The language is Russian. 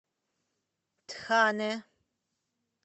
тхане